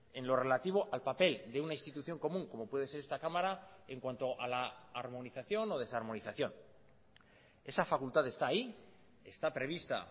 en lo relativo al papel de una institución común como puede ser esta cámara en cuanto a la armonización o desarmonización esa facultad está ahí está prevista